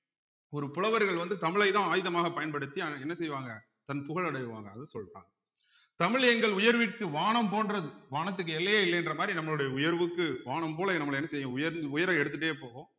ஒரு புலவர்கள் வந்து தமிழைதான் ஆயுதமாக பயன்படுத்தி என்ன செய்வாங்க தன் புகழ் அடைவாங்க அத சொல்றான் தமிழ் எங்கள் உயர்வுக்கு வானம் போன்றது வானத்துக்கு எல்லையே இல்லை என்ற மாதிரி நம்மளுடைய உயர்வுக்கு வானம் போல நம்மளை என்ன செய்யும் உயர்ந் உயர எடுத்துட்டே போகும்